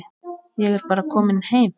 Ég er bara kominn heim.